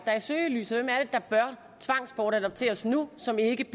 er i søgelyset hvem er det der bør tvangsbortadopteres nu som ikke